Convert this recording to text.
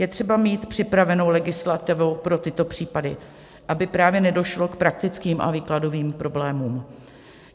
Je třeba mít připravenou legislativu pro tyto případy, aby právě nedošlo k praktickým a výkladovým problémům.